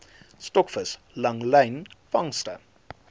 stokvis langlyn vangste